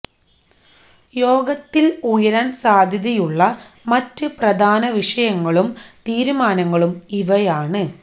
യോഗത്തില് ഉയരാന് സാധ്യതയുളള മറ്റ് പ്രധാന വിഷയങ്ങളും തീരുമാനങ്ങളും ഇവയാണ്